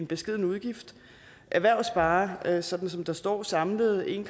beskeden udgift erhvervet sparer sådan som der står samlet en